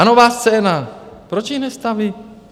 A Nová scéna, proč ji nestaví?